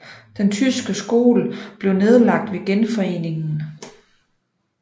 Den tyske skole blev nedlagt ved Genforeningen